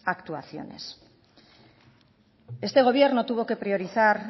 actuaciones este gobierno tuvo que priorizar